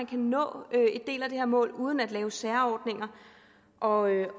kan nå en del af det her mål uden at lave særordninger og jeg